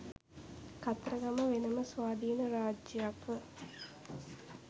කතරගම වෙන ම ස්වාධීන රාජ්‍යයක් ව